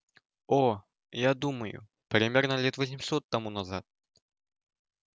о я думаю примерно лет восемьсот тому назад